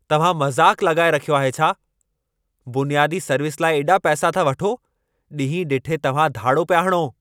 तव्हां मज़ाक़ु लॻाए रखियो आहे छा? बुनियादी सर्विस लाइ एॾा पैसा था वठो। ॾींहं ॾिठे तव्हां धाड़ो पिया हणो।